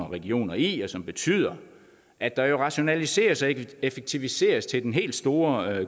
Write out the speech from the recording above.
regioner i og som betyder at der jo rationaliseres og effektiviseres til den helt store